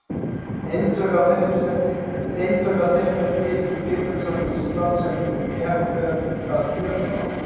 Eintök af þeim eru til í Kvikmyndasafni Íslands, sem fékk þau að gjöf frá